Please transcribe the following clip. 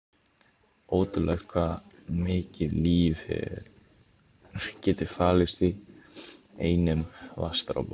Ótrúlegt hvað mikið líf getur falist í einum vatnsdropa.